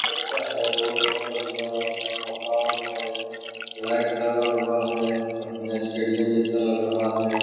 पक्का है रोड है बढ़िया है । लाइट लगा हुआ है । अपने स्टेडियम जैसा लग रहा है ।